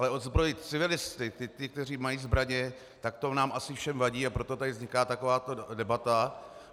Ale odzbrojit civilisty, ty, kteří mají zbraně, tak to nám asi všem vadí, a proto tady vzniká takováto debata.